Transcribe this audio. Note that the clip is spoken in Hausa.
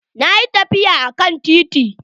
Ina tafiya akan titi.